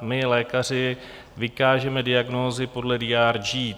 my lékaři vykážeme diagnózy podle DRG.